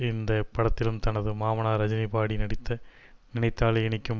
இந்த படத்திலும் தனது மாமனார் ரஜினி பாடி நடித்த நினைத்தாலே இனிக்கும்